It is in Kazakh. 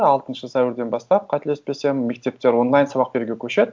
алтыншы сәуірден бастап қателеспесем мектептер онлайн сабақ беруге көшеді